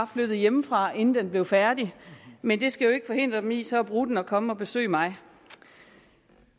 flyttet hjemmefra inden den bliver færdig men det skal jo ikke forhindre dem i så at bruge den og komme og besøge mig